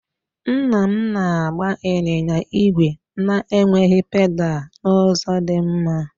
Nna m na-agba ịnyịnya ígwè na-enweghị pedal n'ụzọ dị mma.